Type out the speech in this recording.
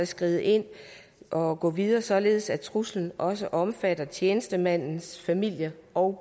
skrider ind og går videre således at truslen også omfatter tjenestemandens familie og